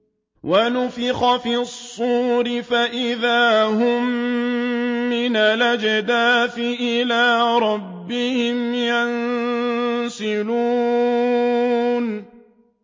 وَنُفِخَ فِي الصُّورِ فَإِذَا هُم مِّنَ الْأَجْدَاثِ إِلَىٰ رَبِّهِمْ يَنسِلُونَ